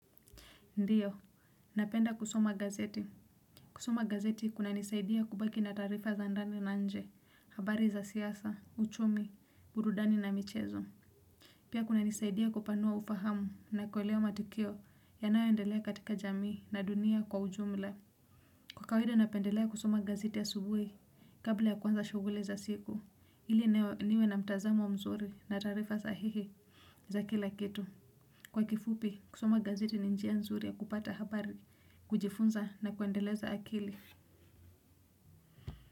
Ndio, napenda kusoma gazeti. Kusoma gazeti kuna nisaidia kubaki na taarifa za ndani na nje, habari za siasa, uchumi, burudani na michezo. Pia kunanisaidia kupanua ufahamu na kuelewa matokeo yanayoendelea katika jamii na dunia kwa ujumla. Kawaida napendelea kusoma gazeti asubuhi, kabla ya kuanza shughuli za siku, ili niwe na mtazamo mzuri na taarifa sahihi za kila kitu. Kwa kifupi, kusoma gazeti ni njia nzuri ya kupata habari, kujifunza na kuendeleza akili.